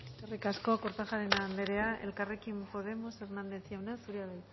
eskerrik asko kortajarena anderea elkarrekin podemos hernández jauna zurea da